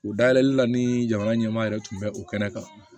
U dayɛlɛli la ni jamana ɲɛmaa yɛrɛ tun bɛ o kɛnɛ kan